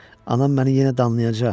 Anam məni yenə danlayacaq.